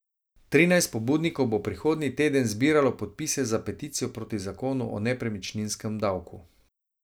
Trinajst pobudnikov bo prihodnji teden zbiralo podpise za peticijo proti zakonu o nepremičninskem davku.